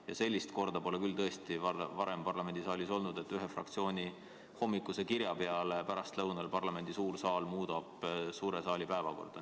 Ja sellist korda pole tõesti varem olnud, et ühe fraktsiooni hommikuse kirja peale pärastlõunal parlamendi suur saal muudab täiskogu päevakorda.